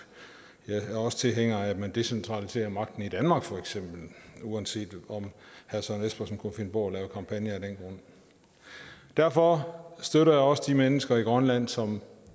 jeg er også tilhænger af at man decentraliserer magten i danmark feks uanset om herre søren espersen kunne finde på at lave kampagner af den grund derfor støtter jeg også de mennesker i grønland som